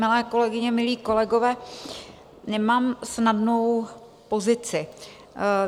Milé kolegyně, milí kolegové, nemám snadnou pozici.